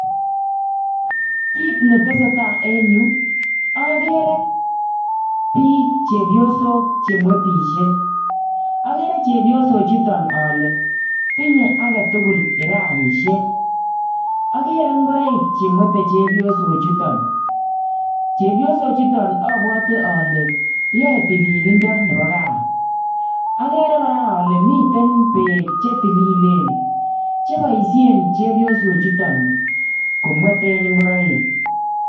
Kit netesetai en yuu, akere biik chepyosok che mwetisie. Akere chepyosok chuton ale tinye age tugul kiraishiek. Akere ngoroik che mwete chepyosok chuton. Chepyosok chuton abwate ale yae tililindo nebo gaa. Akere kora ale miten beek che tililen, che boisien chepyosok chuton komwete ngoroik.